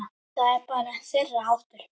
Það er bara þeirra háttur.